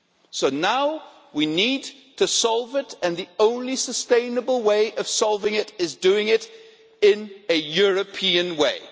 So now we need to solve it and the only sustainable way of solving it is by doing it in a European way.